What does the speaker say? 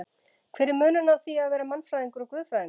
Hver er munurinn á því að vera mannfræðingur og guðfræðingur?